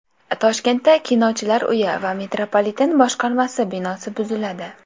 Toshkentda Kinochilar uyi va metropoliten boshqarmasi binosi buziladi.